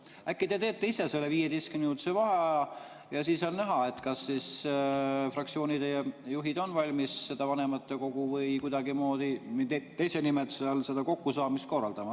Äkki te teete ise selle 15‑minutilise vaheaja, siis on näha, kas fraktsioonide juhid on valmis vanematekogu või kuidagimoodi teise nimetuse all seda kokkusaamist korraldama.